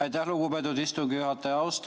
Aitäh, lugupeetud istungi juhataja!